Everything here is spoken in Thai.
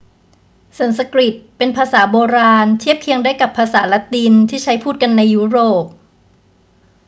สันสกฤตเป็นภาษาโบราณ เทียบเคียงได้กับภาษาละตินที่ใช้พูดกันอยู่ในยุโรป